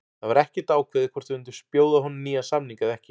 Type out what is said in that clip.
Það var ekkert ákveðið hvort við myndum bjóða honum nýjan samning eða ekki.